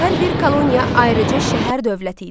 Hər bir koloniya ayrıca şəhər-dövlət idi.